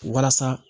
Walasa